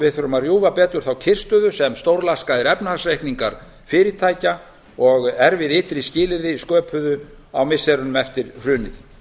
við þurfum að rjúfa betur þá kyrrstöðu sem stórlaskaðir efnahagsreikningar fyrirtækja og erfið ytri skilyrði sköpuðu á missirunum eftir hrunið